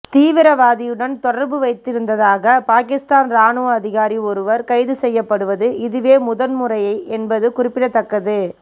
தீவிரவாதியுடன் தொடர்பு வைத்திருந்ததாக பாகிஸ்தான் இராணுவ அதிகாரி ஒருவர் கைது செய்யப்படுவது இதுவே முதன்முறை என்பது குறிப்பிடத்தக்கது